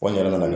Ko n yɛrɛ nana